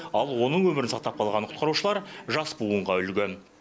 ал оның өмірін сақтап қалған құтқарушылар жас буынға үлгі